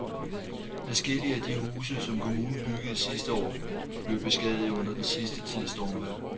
Adskillige af de huse, som kommunen byggede sidste år, er blevet beskadiget under den sidste tids stormvejr.